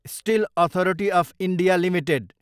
still authority of India Ltd